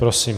Prosím.